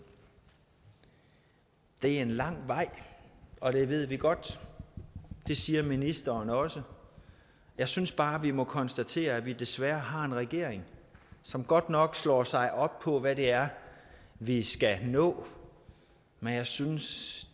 det er en lang vej og det ved vi godt det siger ministeren også jeg synes bare vi må konstatere at vi desværre har en regering som godt nok slår sig op på hvad det er vi skal nå men jeg synes